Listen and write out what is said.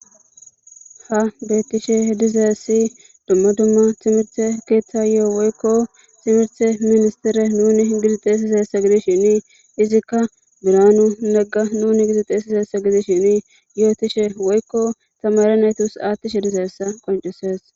Ha beettishe dizaessi dumma dumma timirte keeththa yo7o woykko simirte ministire nuni gidixeesisa hessa gidishini izikka biranu nagga nuni gidixeesisa hessa gidis shini yootishe woykko tamare naytus aattishe dizaessa qoncises.